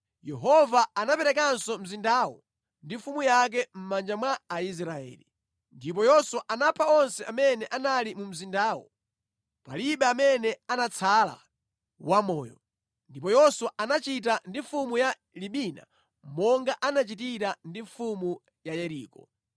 Yehova anaperekanso mzindawo ndi mfumu yake mʼmanja mwa Aisraeli. Ndipo Yoswa anapha onse amene anali mu mzindamo. Palibe amene anatsala wamoyo. Ndipo Yoswa anachita ndi mfumu ya Libina monga anachitira ndi mfumu ya Yeriko.